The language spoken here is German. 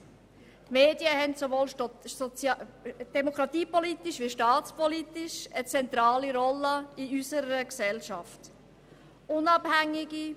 Die Medien nehmen sowohl demokratiepolitisch wie staatspolitisch eine zentrale Rolle in unserer Gesellschaft ein.